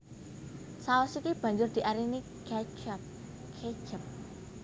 Saus iki banjur diarani catchup ketchup